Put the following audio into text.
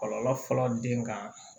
Kɔlɔlɔ fɔlɔ den ka